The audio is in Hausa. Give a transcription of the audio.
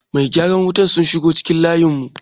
masu gyaran wutar sun shigo cikin layinmu